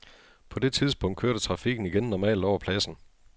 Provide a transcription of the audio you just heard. På det tidspunkt kørte trafikken igen normalt over pladsen.